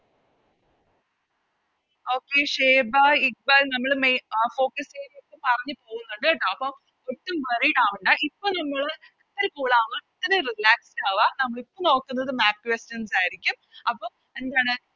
Okay Shweta Iqbal നമ്മള് മെ അഹ് Focus area ഒക്കെ പറഞ്ഞ് പോകുന്നുണ്ട് ട്ടോ അപ്പൊ ഒട്ടും Worried ആവണ്ട ഇപ്പൊ നമ്മള് ഒരു Cool ആവാ Relaxed ആവ നമ്മളിപ്പോ നോക്കുന്നത് Map questions ആയിരിക്കും അപ്പോം എന്താണ്